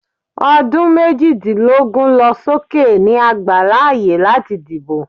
odun mejidilogun losóké ni a gbá laaye lati dibo.